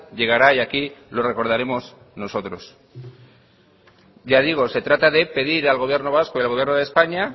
llegará y aquí lo recordaremos nosotros ya digo se trata de pedir al gobierno vasco y al gobierno de españa